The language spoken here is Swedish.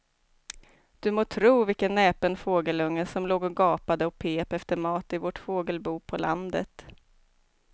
Du må tro vilken näpen fågelunge som låg och gapade och pep efter mat i vårt fågelbo på landet.